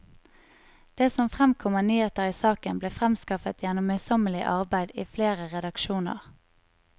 Det som fremkom av nyheter i saken, ble fremskaffet gjennom møysommelig arbeid i flere redaksjoner.